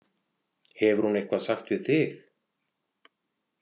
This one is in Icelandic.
Hefur hún eitthvað sagt við þig?